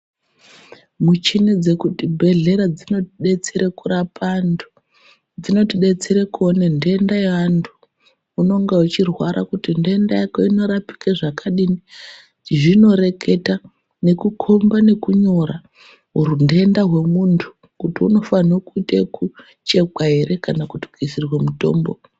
Muchini dzekutibhehlera dzinotidetsera kurapa antu, dzinotidetsera kuone nhenda yeantu . Unonga uchirwara kuti nhenda Yako inorapika zvakadini zvinoreketa nekukhomba nekunyora unhenda hwemuntu kuti nofana kuita ekuchekwa ere kana kuti kuisirwe mutombo.